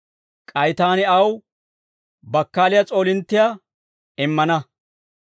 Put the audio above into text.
K'ay taani aw bakkaaliyaa s'oolinttiyaa immana.